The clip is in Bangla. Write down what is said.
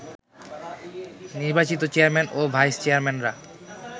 নির্বাচিত চেয়ারম্যান ও ভাইস চেয়ারম্যানরা